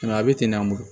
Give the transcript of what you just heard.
a bɛ ten de an bolo